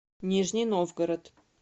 нижний новгород